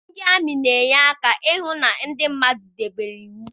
Ndị amị na-enye aka ahụ na ndị mmadụ debere iwu